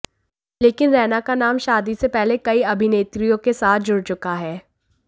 लेकिन रैना का नाम शादी से पहले कई अभिनेत्रियों के साथ जुड़ चुका है